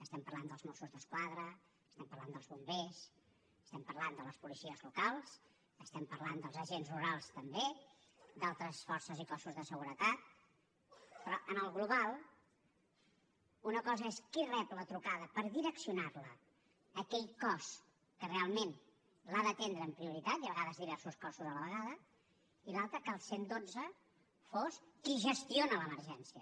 estem parlant dels mossos d’esquadra estem parlant dels bombers estem parlant de les policies locals estem parlant dels agents rurals també d’altres forces i cossos de seguretat però en el global una cosa és qui rep la trucada per direccionar la a aquell cos que realment l’ha d’atendre amb prioritat i a vegades diversos cossos a la vegada i l’altra que el cent i dotze fos qui gestiona l’emergència